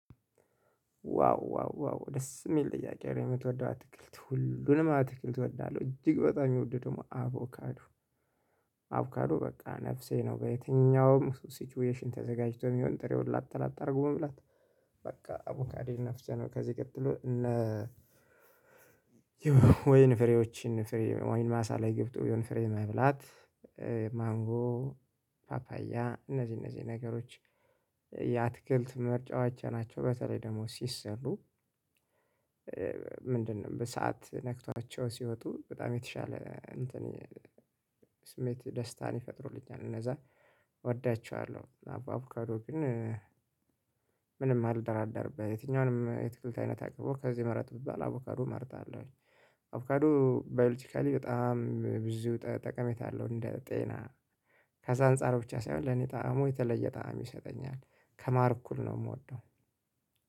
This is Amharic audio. ዋው ዋው ዋው ደስ የሚል ጥያቄ ነው የምትወደው አትክልት ሁሉንም አትክልት እወዳለሁ እጅግ በጣም የሚወደደው አቮካዱ አቮካዱ በቃ ነፍሴ ነው በየትኛውም ሲቹዌሽን ተዘጋጅቶ የሚሆን ጥሬውን ላጥ ለጥ አድርጎ መብላት በቃ አቡካዲን ነፍሴ ነው ከዚህ ቀጥሎ እነ ወይን ፍሬዎችን ፍሬ ወይን ማሳ ላይ ገብቶ የሆነ ፍሬ መብላት ማንጎ ፓፓያ እነዚህ እነዚህ ነገሮች የአትክልት ምርጫዋቸው ናቸው በተለይ ደግሞ ሲሰሩ ምንድነው በእሳት ነክቷቸው ሲወጡ በጣም የተሻለ እንትን ስሜት ደስታን ይፈጥሩልኛል እነዛ እወዳቸዋለሁ አቡካዶ ግን ምንም አልደራደርም የትኛውንም የትክልት አይነት አቅሞ ከዚህ መረጥ ብቻ አቮካዶ እመርጣለሁኝ። አቮካዱ ባዮሎጂካሊ በጣም ብዙ ጠቀሜታ አለው እንደ ጤና ከዛ አንፃር ብቻ ሳይሆን ለኔ ጣዕሙ የተለየ ጣዕም ይሰጠኛል ከማር እኩል ነው የምወደው